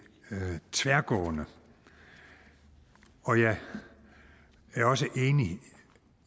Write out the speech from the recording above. tværgående og jeg er også enig